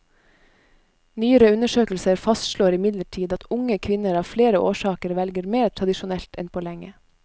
Nyere undersøkelser fastslår imidlertid at unge kvinner av flere årsaker velger mer tradisjonelt enn på lenge.